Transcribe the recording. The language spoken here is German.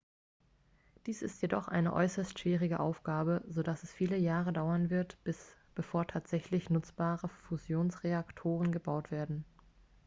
dies ist jedoch eine äußerst schwierige aufgabe so dass es viele jahre dauern wird bevor tatsächlich nutzbare fusionsreaktoren gebaut werden